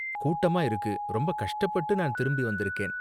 கூட்டமா இருக்கு, ரொம்ப கஷ்டப்பட்டு நான் திரும்பி வந்திருக்கேன்.